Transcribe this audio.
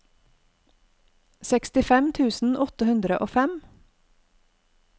sekstifem tusen åtte hundre og fem